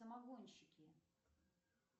самогонщики